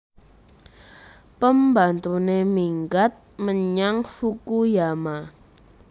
Pembantune minggat menyang Fukuyama